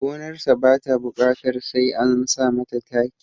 Gonarsa ba ta buƙatar sai an sa mata taki